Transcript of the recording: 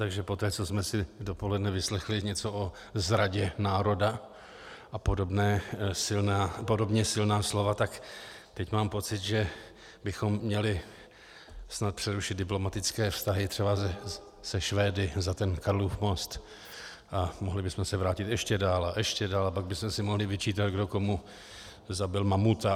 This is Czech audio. Takže poté, co jsme si dopoledne vyslechli něco o zradě národa a podobně silná slova, tak teď mám pocit, že bychom měli snad přerušit diplomatické vztahy třeba se Švédy za ten Karlův most a mohli bychom se vrátit ještě dál a ještě dál a pak bychom si mohli vyčítat, kdo komu zabil mamuta.